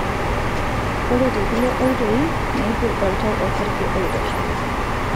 ore tekulie oitoi, meiput oltau osarge oitosha.